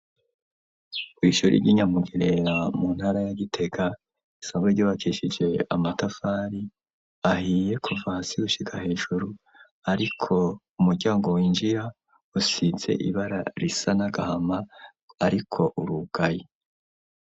Kw’ishuri ryi Nyamugerera mu ntara ya Gitega risanzwe ryubakashije amatafari ahiye kuva hasi gushika hejuru ariko umuryango winjira usize ibara risa n'agahama ariko urugaye.